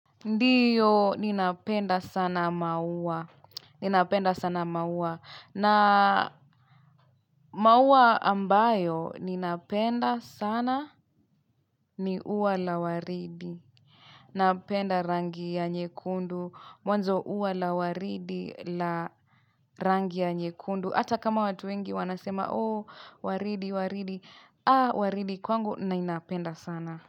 Ndiyo ninapenda sana maua. Ninapenda sana maua. Na maua ambayo ninapenda sana ni uwa la waridi. Napenda rangi ya nyekundu. Mwanzo uwa la waridi la rangi ya nyekundu. Hata kama watu wengi wanasema, oh, waridi, waridi. Ah, waridi kwangu, nainapenda sana.